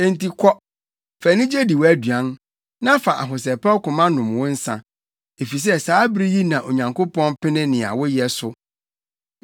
Enti kɔ, fa anigye di wʼaduan, na fa ahosɛpɛw koma nom wo nsa, efisɛ saa bere yi na Onyankopɔn pene nea woyɛ so.